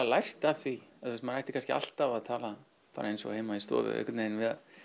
lært af því maður ætti kannski alltaf að tala bara eins og heima í stofu einhvern veginn